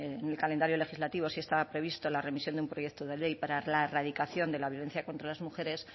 en el calendario legislativo sí estaba previsto la remisión de un proyecto de ley para la erradicación de la violencia contra las mujeres